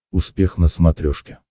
успех на смотрешке